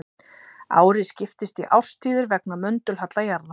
Árið skiptist í árstíðir vegna möndulhalla jarðar.